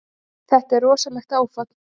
Þetta er rosalegt áfall.